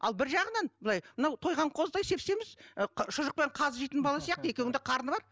ал бір жағынан былай мынау тойған қозыдай сеп семіз ы шұжық пен қазы жейтін бала сияқты екеуінің де қарны бар